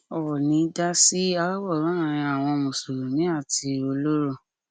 óónì dá sí aáwọ láàrin àwọn mùsùlùmí àti ọlọrọ